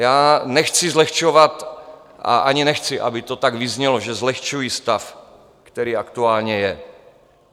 Já nechci zlehčovat a ani nechci, aby to tak vyznělo, že zlehčuji stav, který aktuálně je.